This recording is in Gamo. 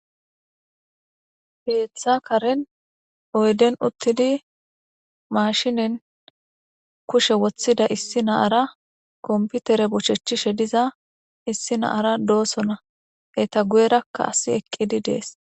Hesa Karen oyden utidi mashinen kushe wothida issi na'ara kompitere bochetishe diza issi na'ara dosona eta guyeraka asi eqidi dees.